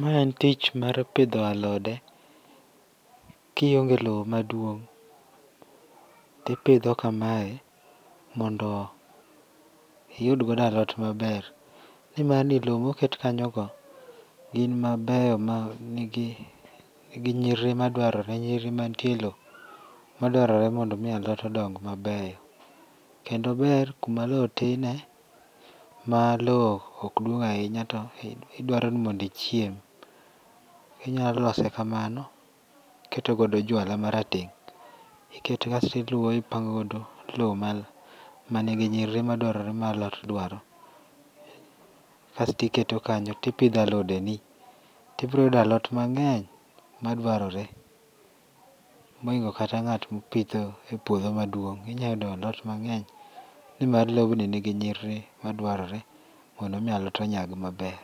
Mae en tich mar pidho alode, kionge lowo maduong' to ipidho kamae mondo yud godo alot maber. Nimar ni lowo moket kanyo go gin mabeyo man gi nyirir madwarore nyiriri mantie e lowo madwarore mon do mi alot odong mabeyo. Kendo ober kuma lowo tinie ma lowo ok duong' ahinya to idwaro ni mondo ichiem. Inyalo lose kamano to iketo godo juala marateng', iketo asto iluowo ipango godo lowo mai manigi nyiriri ma madwarore ma alot dwaro. Kasto iketo kanyo to ipidho alodeni to ibiro yudo alot mang'eny maduarore mohingo kata ng'at mopitho e puodho maduong'. Inyalo yudo alot mang'eny nimar lobni nigi nyiriri madwarore mondo mi alot onyag maber.